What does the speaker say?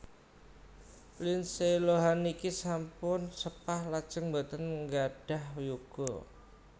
Lindsay Lohan niki sampun sepah lajeng mboten nggadhah yuga